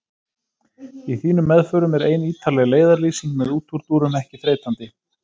Í þínum meðförum er ein ítarleg leiðarlýsing með útúrdúrum ekki þreytandi.